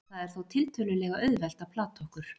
Það er þó tiltölulega auðvelt að plata okkur.